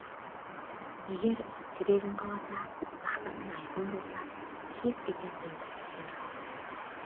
егер жүрегің қаласа мақсатың айқын болса кез келген қиындықты жеңе аласың